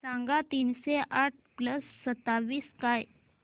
सांगा तीनशे आठ प्लस सत्तावीस काय